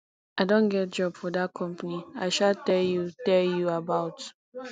i don get job for dat company i um tell you tell you about